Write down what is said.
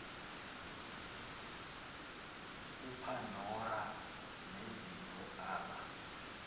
upandora nezipho aba